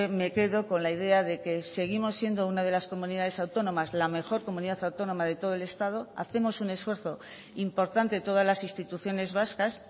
me quedo con la idea de que seguimos siendo una de las comunidades autónomas la mejor comunidad autónoma de todo el estado hacemos un esfuerzo importante todas las instituciones vascas